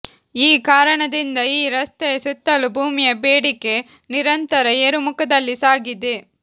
ಈ ಕಾರಣದಿಂದ ಈ ರಸ್ತೆಯ ಸುತ್ತಲೂ ಭೂಮಿಯ ಬೇಡಿಕೆ ನಿರಂತರ ಏರುಮುಖದಲ್ಲಿ ಸಾಗಿದೆ